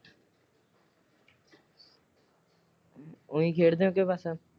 ਉਇ ਖੇਡਦੇ ਹੋ ਕੇ ਬਸ?